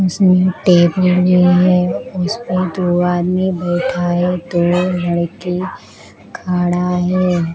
इसमें टेबुल भी है उसपे दो आदमी बैठा है दो लड़की खड़ा है।